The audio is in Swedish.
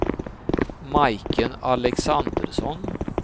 Majken Alexandersson